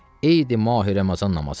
Eydi Mahi Ramazan namazıdır.